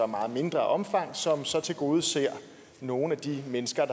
meget mindre omfang som så tilgodeser nogle af de mennesker